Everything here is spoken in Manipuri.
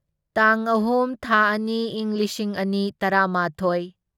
ꯇꯥꯡ ꯑꯍꯨꯝ ꯊꯥ ꯑꯅꯤ ꯢꯪ ꯂꯤꯁꯤꯡ ꯑꯅꯤ ꯇꯔꯥꯃꯥꯊꯣꯢ